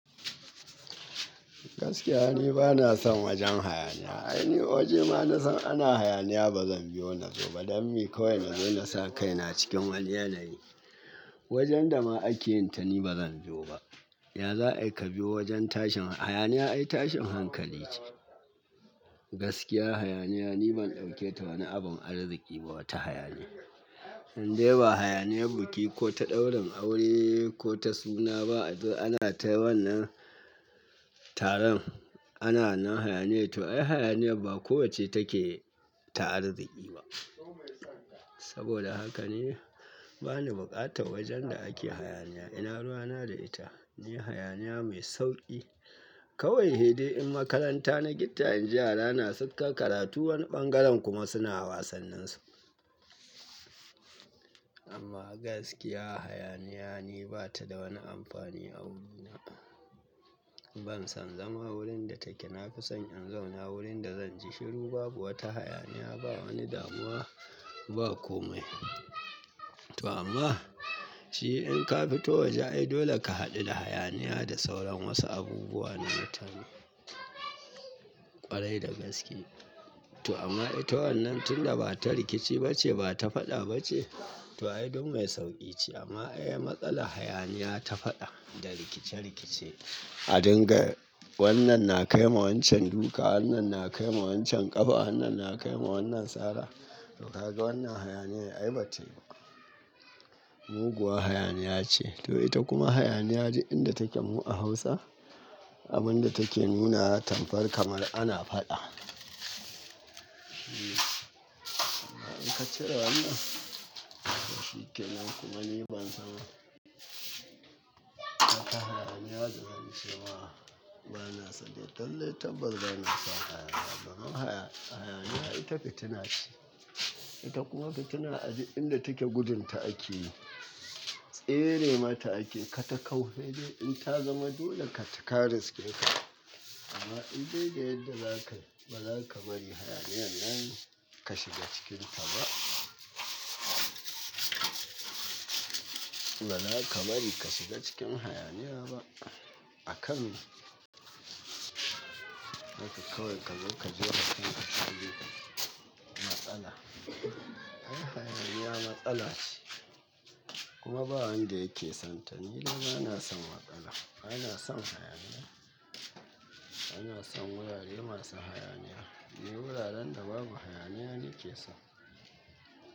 Gaskiya, ni ba na son wajen hayaniya. Ai, ni waje ma na san ana hayaniya ba zan biyo na zo ba, don me kawai na zai nasa kaina cikin wani yanayi wajen da ma ake yin ta ni ba zan biyo ba. Ya za aika biyo wajen tashin hayaniya? Ai tashin hankali ce. Gaskiya hayaniya ni ban dauke ta wani abun arziki ba, wata hayaniya. Indai ba hayaniya buki ko ta ɗaurin aure ko ta suna ba, a zo ana ta wannan taron ana nan hayaniya to ai hayaniya ba ko wacce take ta arziki ba. Saboda haka ni bani buƙatar wajen da ake hayaniya. Ina ruwa na da ita, ne hayaniya mai sauƙi. Kawai hede in makaranta na gitta, in ji yara na sukan karatu wani ɓangaren kuma suna wasannin su. Amma gaskiya hayaniya ni bata da wani amfani a wurina. Ban son zama wurin da take, na fi son in zauna wurin da zan ji shiru babu wata hayaniya, ba wani damuwa, ba komai. To amma shi in ka fito waje ai dole ka haɗu da hayaniya da sauran wasu abubuwa na mutane ƙwarai da gaske. To amma ita wannan tunda bata rikici ba ce bata faɗa ba ce to ai don mai sauƙi ce amma ai matsala hayaniya ta faɗa da rikice-rikice. A dinga wannan na kai ma wancan duka, wannan na kai ma wancan ƙafa, wannan na kai ma wannan sara to ka ga wannan hayaniya ai ba ta yi ba. Muguwa hayaniya ce to ita kuma hayaniya ji inda take mu a Hausa abin da take nuna tamkar kamar ana faɗa. Amma in ka cire wannan, to shige nan kuma ni ban san wata hayaniya da zan ce ma ba na so dai. Lallai tabar ba na son hayaniya ba. Don me hayaniya ita fitina ce, ita kuma fitina a duk inda take gudun ta ake yi. Tsere mata ake yi, ka ta kau sai in ta zama dole ka taka riskinka. Amma indai da yadda zaka, ba zaka bari hayaniyan nan ka shiga cikinta ba. Ba zaka bari ka shiga cikin hayaniya ba a kan mi. Haka kawai kazo ka jefa kan ka cikin matsala. Ai hayaniya matsala ce kuma ba wanda yake son ta. Ni dai ba na son matsala, ba na son hayaniya. Ba na son wurare masu hayaniya, ne wuraren da babu hayaniya ne ke son.